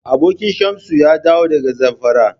Abokin Shamsu ya dawo daga Zamfara.